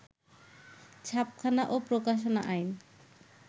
ছাপাখানা ও প্রকাশনা আইন